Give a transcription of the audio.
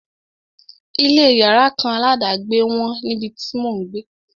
Ilé yàrá kan aládàgbé wọ́n níbi tí mò ń gbé.